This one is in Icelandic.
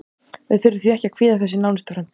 Við þurfum því ekki að kvíða þessu í nánustu framtíð.